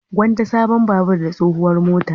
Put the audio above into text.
Gwanda sabon babur da tsohuwar mota.